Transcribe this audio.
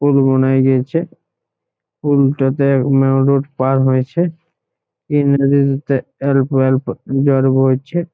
পুল বনাই গিয়েছে | পুলটাতে মেন রোড পার হয়েছে | অল্প অল্প জল বইছে।